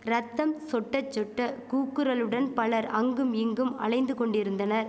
ரத்தம் சொட்ட சொட்ட கூக்குரலுடன் பலர் அங்கும் இங்கும் அலைந்து கொண்டிருந்தனர்